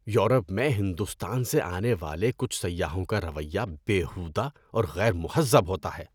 Europe میں ہندوستان سے آنے والے کچھ سیاحوں کا رویہ بیہودہ اور غیر مہذب ہوتا ہے۔